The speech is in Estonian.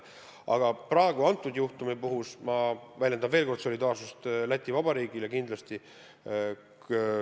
Aga praeguse juhtumi puhul ma väljendan veel kord solidaarsust Läti Vabariigiga.